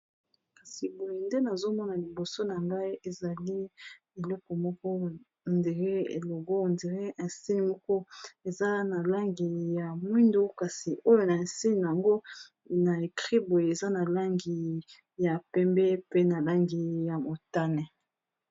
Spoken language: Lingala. kasi boye nde nazomona liboso na ngai ezali eleko moko ndire elogo ndr insine moko eza na langi ya mwindo kasi oyo na insine yango na ekri boye eza na langi ya pembe pe na langi ya motane